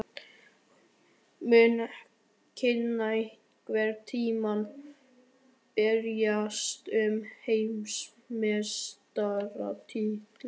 Mun Kína einhvern tímann berjast um heimsmeistaratitilinn?